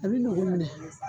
A bɛ nin kuminɛ.